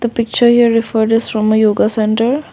the picture your refer this from my yoga centre.